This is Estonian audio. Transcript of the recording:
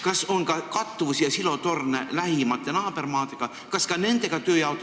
Kas on ka kattuvusi lähimate naabermaadega ja selliseid silotorne?